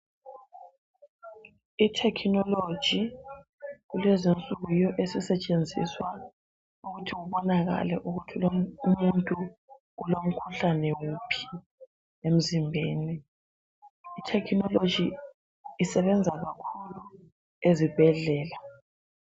i technology kulezi insuku yiyo esisetshenziswa ukuthi kubonakale ukuthi umuntu ulomkhuhlane wuphi emzimbeni i technology isebenza kakhulu ezibhedlela